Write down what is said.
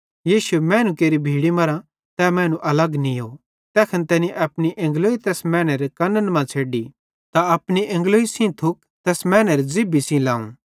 यीशुए मैनू केरि भीड़ी मरां तै मैनू अलग नीयो तैखन तैनी अपनी एंगलोई तैस मैनेरे कन्न मां छ़ेड्डी त अपनी एंगलोई सेइं थुक तैस मैनेरी ज़िभ्भी सेइं लावं